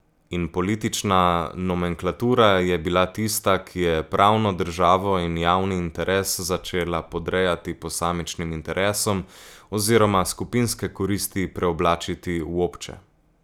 In politična nomenklatura je bila tista, ki je pravno državo in javni interes začela podrejati posamičnim interesom oziroma skupinske koristi preoblačiti v obče.